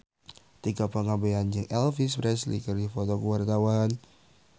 Tika Pangabean jeung Elvis Presley keur dipoto ku wartawan